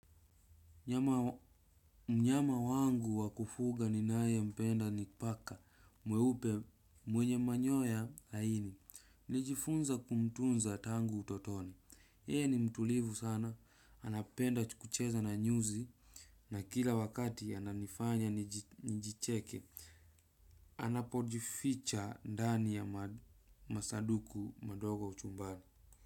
Mnyama wangu wa kufuga ninaye mpenda ni paka mweupe mwenye manyoya laini. Nijifunza kumtunza tangu utotoni. Yeye ni mtulivu sana. Anapenda kucheza na nyuzi. Na kila wakati ananifanya njicheke. Anapojificha ndani ya masaduku madogo au chumbani.